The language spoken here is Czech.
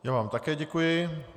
Já vám také děkuji.